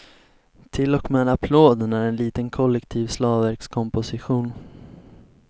Till och med applåden är en liten kollektiv slagverkskomposition.